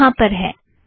यह यहाँ पर है